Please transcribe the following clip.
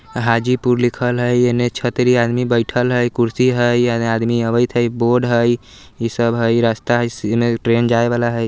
हाजीपुर लिखल हेय हेने छतरी आदमी बैठल हेय कुर्सी हेय एने आदमी आवेएत हेय बोर्ड हेय इ सब हेय रास्ता हेय इमे ट्रेन जाए वाला हेय।